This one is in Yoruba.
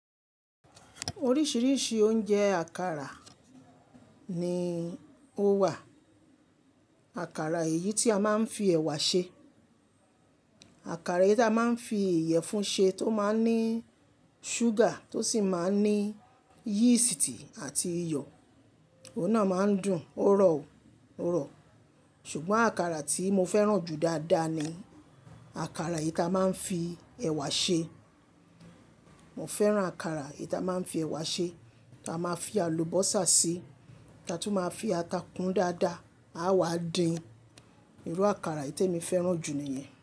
Oríṣìíríṣìí oúnjẹ àkàrà ni ó wà. Àkàrà èyí tí a máa ń fi ẹ̀wà ṣe, àkàrà èyí tí a máa ń fi ìyẹ̀fun ṣe tó máa ń ní ṣúgà tó sì máa ń ní yístì àti iyọ̀, òun náà máa ń dùn, ó rọ̀ ó, ó rọ̀. Ṣùgbọ́n àkàrà tí mo fẹ́ràn jù dáadáa ni àkàrà èyí tí a máa ń fi ẹ̀wà ṣe. Mo fẹ́ràn àkàrà èyí tí a máa ń fi ẹ̀wà ṣe, tí a máa fi àlùbọ́sà si, ta tun máa fi ata kun dáadáa, a wá dín. Irú àkàrà èyí temi fẹ́ràn jù ni iyẹn.